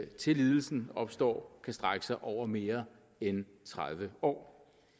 til lidelsen opstår kan strække sig over mere end tredive år